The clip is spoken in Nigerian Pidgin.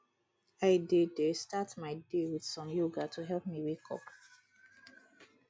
i dey dey start my day with some yoga to help me wake up